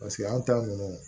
Paseke anw ta ninnu